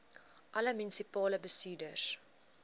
alle munisipale bestuurders